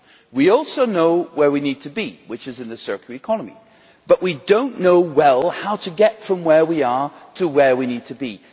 We also know where we need to be, which is in the circular economy, but we do not know well how to get from where we are to where we need to be.